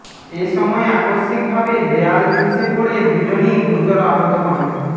এ সময় আকস্মিকভাবে দেয়াল ধসে পড়ে দুজনই গুরুতর আহত হন